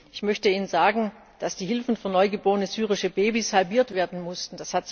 Ich möchte Ihnen sagen, dass die Hilfen für neugeborene syrische Babys halbiert werden mussten.